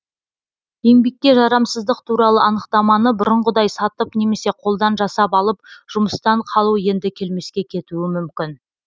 еңбекке жарамсыздық туралы анықтаманы бұрынғыдай сатып немесе қолдан жасап алып жұмыстан қалу енді келмеске кетуі мүмкін